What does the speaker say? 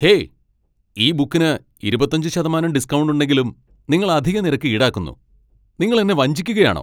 Hey! ഈ ബുക്കിന് ഇരുപത്തഞ്ച് ശതമാനം ഡിസ്ക്കൗണ്ട് ഉണ്ടെങ്കിലും നിങ്ങൾ അധിക നിരക്ക് ഈടാക്കുന്നു. നിങ്ങൾ എന്നെ വഞ്ചിക്കുകയാണോ?